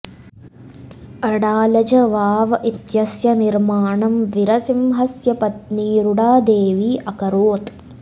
अडालज वाव इत्यस्य निर्माणं वीरसिंहस्य पत्नी रुडादेवी अकरोत्